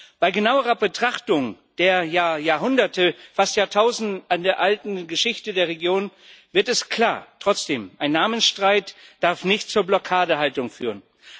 Doch bei genauerer Betrachtung der Jahrhunderte, fast Jahrtausende alten Geschichte der Region wird es klar. Trotzdem Ein Namensstreit darf nicht zur Blockadehaltung führen.